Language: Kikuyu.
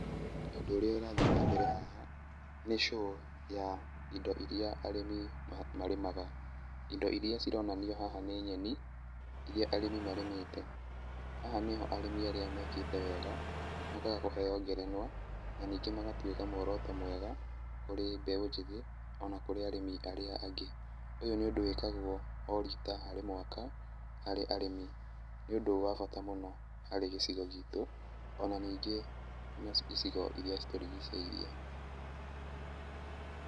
Ũndũ ũrĩa ũrathiĩ na mbere haha nĩ show ya indo iria arĩmi marĩmaga, indo iria cironanio haha nĩ nyeni iria arĩmi marĩmĩte. Aya nĩo arĩmi arĩa mekĩte wega mokaga kũheo ngerenwa na ningĩ magatuĩka muoroto mwega kũrĩ mbeũ njĩthĩ ona kũrĩ arĩ arĩa angĩ. Ũyũ nĩ ũndũ wĩkagwo o rita harĩ mwaka harĩ arĩmi nĩ ũndũ wa bata mũno harĩ gĩcigo gitũ ona ningĩ harĩ gĩcigo iria citũrigicĩirie.